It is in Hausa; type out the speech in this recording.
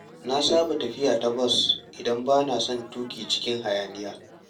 Na saba tafiya ta bas idan bana son tuƙi cikin hayaniya.